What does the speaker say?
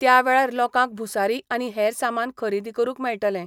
त्यावेळार लोकांक भूसारी आनी हेर सामान खरेदी करूंक मेळटले.